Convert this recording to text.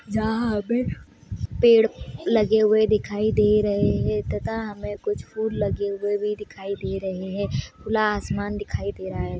जहाँ पे पेड़ लगे हुए दिखाई दे रहे है तथा हमे कुछ फूल लगे हुए भी दिखाई दे रहे हैं खुला आसमान दिखाई दे रहा है।